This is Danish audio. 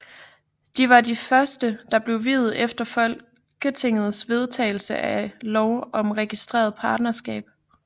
De var det første der blev viet efter folketingets vedtagelse af lov om registreret partnerskab